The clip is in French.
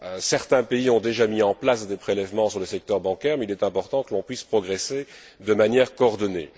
Certains pays ont déjà mis en place des prélèvements sur le secteur bancaire mais il est important que l'on puisse progresser de manière coordonnée.